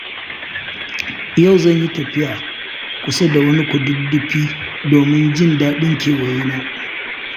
Yau zan yi tafiya kusa da wani kududdufi domin jin daɗin kewayena.